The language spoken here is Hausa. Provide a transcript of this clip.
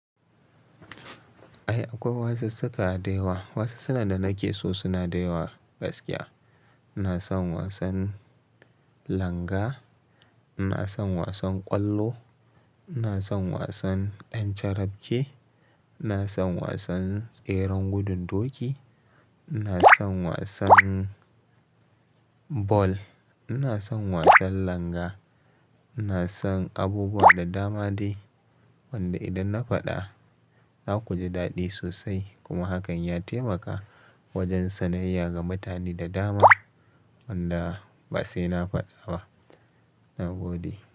Ai akwai wasu suka da yawa, wasu suka da nake so suna daɗewa gaskiya. Ina son wasan langa, ina son wasan ƙwallo, ina son wasan ƴan carafke, ina son wasan tseren gududoki, ina son wasan bal, ina son wasan langa, ina son abubuwa da dama dai wanda idan na faɗa zaku ji daɗi sosai kuma hakan ya taimaka wajen sanayya ga mutane da dama wanda ba sai na faɗa ba. Na gode.